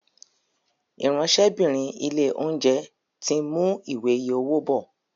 Ìráńṣẹ́bìnrin ilé-oúnjẹ tin mú Ìwé iye owó bó.